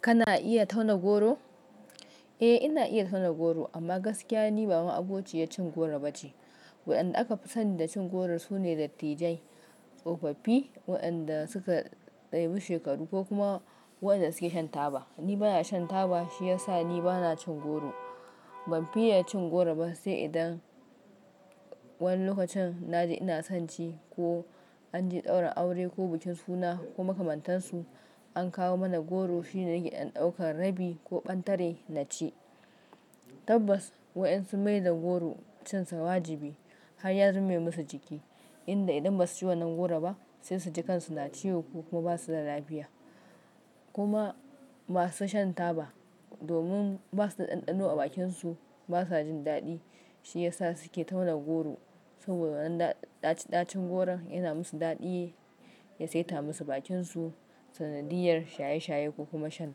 Kana iya tauna goro? Eh ina iya tauna goro amma gaskiya ni ba ma abokiya cin goro ba ce. Waɗanda aka fi sani da cin goro su ne dattijai, tsofaffi waɗanda suka tsaya bi shekaru ko kuma waɗanda suke shan taba. Ni bana shan taba shi yasa ni bana cin goro. Ban fi iya cin goro ba sai idan wani lokacin na ji ina son ci ko an je ɗaura aure ko bikin suna ko makamantan su an kawo mana goro shine nake in ɗauka rabi ko ɓantare na ci. Tabas, wayansu mai da goro cin sa wajabi har ya zama masu jiki in da idan ba su ci wannan goro ba sai su ji kansu na ciwo ko kuma ba su da lafiya. Kuma ma su shan taba domin ba su da ɗanɗano a bakin su, ba sa jin daɗi shi yasa su ke tauna goro saboda wannan dacin ɗacin goron yana musu daɗi, ya saita musu bakin su sanadiyar shaye shaye ko kuma shan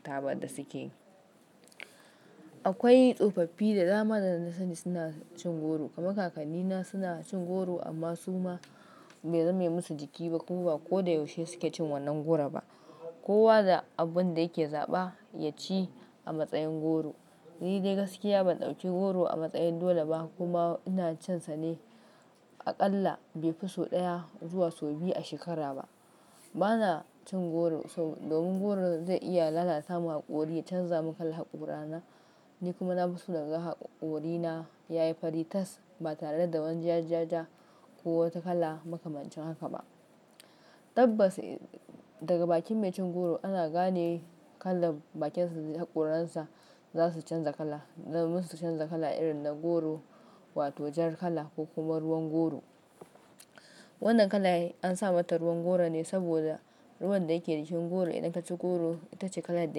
taba da suke. Akwai tsofaffi da dama da na sani suna cin goro kamar kaka ni na suna cin goro amma su ma bai zame musu jiki ba ko kuwa ko da yaushe suke cin wannan goro ba. Kowa da abin da yake zaɓa ya ci a matsayin goro. Ni dai gaskiya ban ɗauke goro a matsayin dole ba kuma ina cin sa ne aƙalla bai fi sau ɗaya zuwa sau biyu a shekara ba. Bana cin goro sab-- domin goro zai iya lalata mun haƙori, ya canza mun kalan haƙora na, ni kuma na fi so naga haƙorina yayi fari tas ba tare da wani ja ja ja ko wata kala makamancin haka ba. Tabbas daga bakin mai cin goro ana gane kalan bakin sa, haƙoran sa za su canza kala. Na musu canza kala irin na goro wato jar kala ko kuma ruwan goro. Wannan kala an samar ta ruwan goro ne saboda ruwan da yake cikin goro idan ta ci goro ita ce kalar da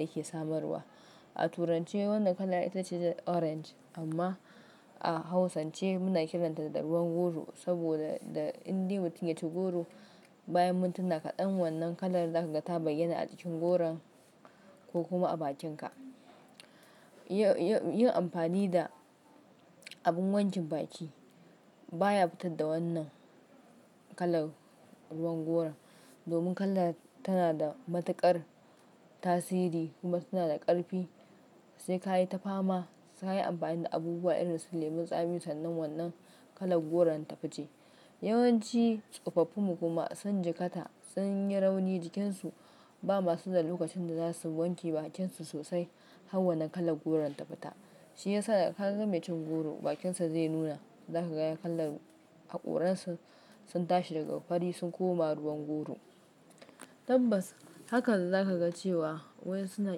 yake samarwa. A turanche wannan kala ita ce orange amma a hausance muna kiranta da ruwan goro saboda da in dai mutum ya ci goro bayan mintuna kaɗan wannan kalar za ka ga ta bayyana a cikin goron ko kuma a bakin ka. Yin, yin amfani da abin wankin baki baya fita da wannan kalan ruwan goro domin kala tana da matuƙar tasiri kuma tana da ƙarfi sai ka yi ta fama sai ka yi amfani da abubuwa irin su lemon tsami sannan wannan kalan goron ta fice. Yawanci tsofaffi mu kuma sun jiƙata, sun yi rauni jikin su ba masu da lokacin da za su wanke bakin su sosai har wannan kalan goron ta fita. Shi yasa da kaga mai cin goro bakin sa zai nuna za ka ga kalan haƙoran sa sun tashi daga fari sun koma ruwan goro. Tabbas hakan za ka ga cewa wayansu na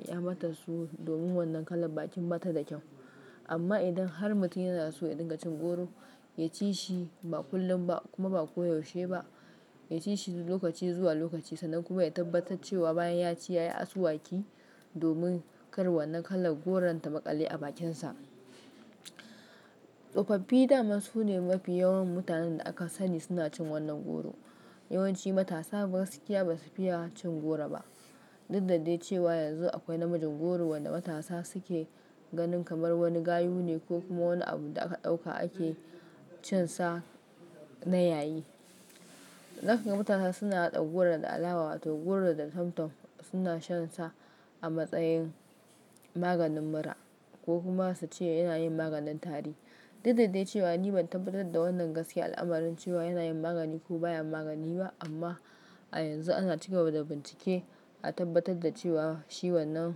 kyamar da su domin wannan kala bakin bata da kyau, amma idan har mutum yana so ya ɗinga cin goro ya ci shi ba kullum ba kuma ba koyaushe ba. Ya ci shi lokaci zuwa lokaci sannan kuma ya tabbatar cewa bayan ya ci ya yi asuwaki domin kar wannan kalan goron ta maƙale a bakin sa. Tsofaffi da masu ne mafi yawan mutanen da aka sani suna cin wannan goro. Yawanci matasa gaskiya ba su fiya cin goro ba. Duk da dai cewa yanzu akwai na miji goro wanda matasa suke ganin kamar wani gayu ne ko kuma wani abu da aka ɗauka ake cin sa na yayi. Zaka ga matasa suna haɗa goro da alawa wato goro da tomtom suna shan sa a matsayin maganin mura ko kuma su ce yana yin maganin tari. Duk da dai cewa ni ban tabbatar da wannan gaskiya al'amuran cewa yana yin magani ko baya magani ba, amma a yanzu ana cika ba da bincike a tabbatar da cewa shi wannan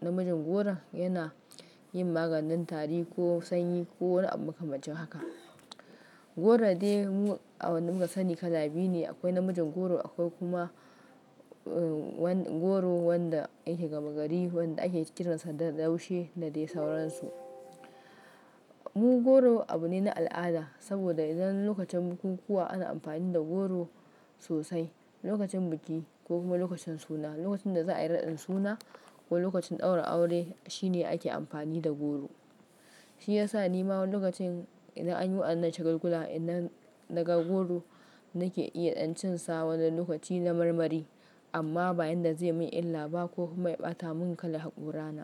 na miji goro yana yin maganin tari ko sanyi ko wani abu makamancin haka. Goro dai, mu, a wannan mun tsani kala biyu ne akwai namijin goro, akwai kuma goro wanda yake gaba gari wande ake kiran sa da laushi da dai sauransu. Mu goro abu ne na al'ada saboda idan lokacin bukukuwa ana amfani da goro sosai, lokacin biki ko kuma lokacin suna, lokacin da za a yi raɗin suna ko lokacin ɗaura aure shi ne ake amfani da goro. Shi yasa ni ma wanu lokacin idan an yi wa ɗan nan shagulgula idan daga goro nake iya dan cin sa wani lokaci don marmari amma bayan da zai min illa ba ko kuma ya ɓata mun kalan haƙora na.